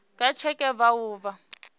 nga tsheke vha o vha